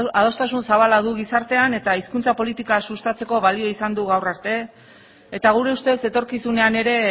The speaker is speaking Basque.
adostasun zabala du gizartean eta hizkuntza politika sustatzeko balio izan du gaur arte eta gure ustez etorkizunean ere